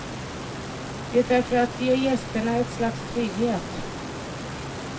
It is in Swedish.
Det är för att ge gästerna ett slags trygghet.